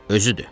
Özüdür.